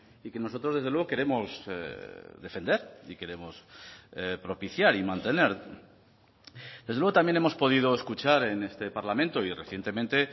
y que nosotros desde luego queremos defender y queremos propiciar y mantener desde luego también hemos podido escuchar en este parlamento y recientemente